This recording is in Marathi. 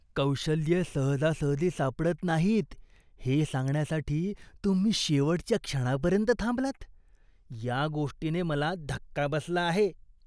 कौशल्ये सहजासहजी सापडत नाहीत हे सांगण्यासाठी तुम्ही शेवटच्या क्षणापर्यंत थांबलात, या गोष्टीने मला धक्का बसला आहे.